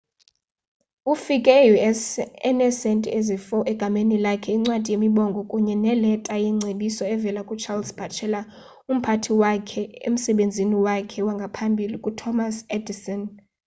ufike e-us eneesentie ezi-4 egameni lakhe incwadi yemibongo kunye neleta yengcebiso evela ku-charles batchelor umphathi wakhe emsebenzini wakhe wangaphambili ku-thomas edison